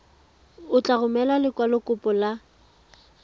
o tla romela lekwalokopo la